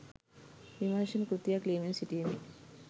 විමර්ශන කෘතියක් ලියමින් සිටියෙමි.